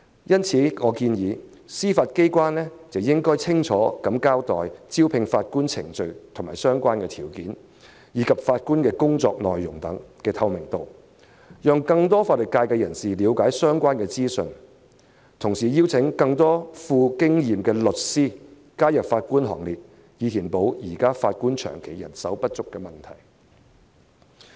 因此，我建議司法機構應清楚交代招聘法官的程序和相關條件，並增加法官工作內容的透明度，讓更多法律界人士了解相關資訊，同時邀請更多富經驗的律師加入法官行列，以解決現時法官長期人手不足的問題。